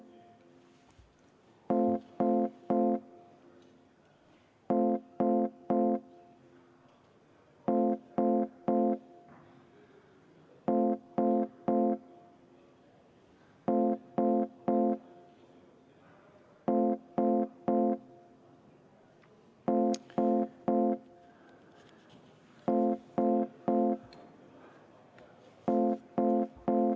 Paneme ikka kutsungi ka.